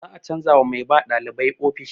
Za a canza wa mai ba ɗalibai ofishi.